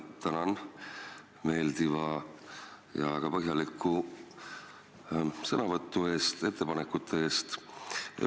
Tänan meeldiva ja väga põhjaliku sõnavõtu eest, samuti ettepanekute eest!